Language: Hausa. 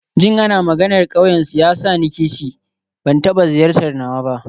Jin ana maganar ƙauyensu yana sa ni kishi, ban taɓa ziyartar nawa ba.